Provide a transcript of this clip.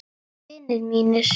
Vinir mínir.